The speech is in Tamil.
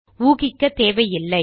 ஊகிக்க தேவையில்லை